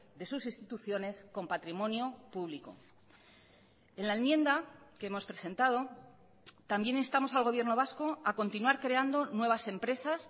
de sus instituciones con patrimonio público en la enmienda que hemos presentado también instamos al gobierno vasco a continuar creando nuevas empresas